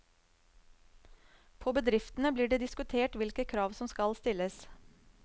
På bedriftene blir det diskutert hvilke krav som skal stilles.